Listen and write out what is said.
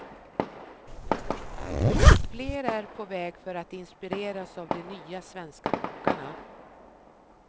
Fler är på väg för att inspireras av de nya svenska kockarna.